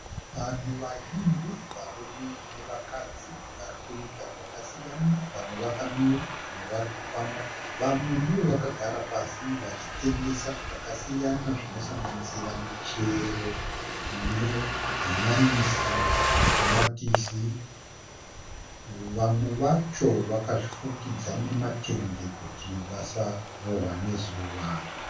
Vanhu vazhinji varume nevakadzi varikuita zvakasiyana vamwe vakamira vamwe warikufamba vamwe ndivo vakagara pasi vachitengesa zvakasiyana zvinosanganisira michero nehanyanisi matomatisi vamwe vacho vakazvifukidza nematende kuti vasarohwa nezuwa